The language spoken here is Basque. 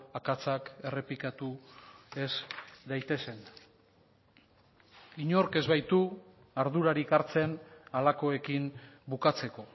akatsak errepikatu ez daitezen inork ez baitu ardurarik hartzen halakoekin bukatzeko